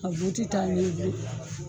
A bɛ t'i taa